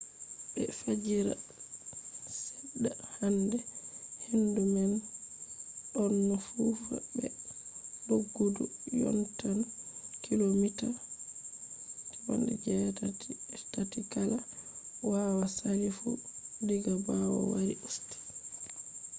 be fajira seɗɗa hande hendu man ɗonno fufa be doggudu yottan kilomita 83 kala hawa sali fu diga ɓawo wari usti